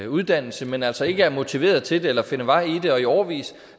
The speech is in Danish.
uddannelse men altså ikke er motiveret til det eller kan finde vej i det og i årevis